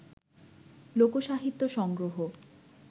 লোকসাহিত্য সংগ্রহ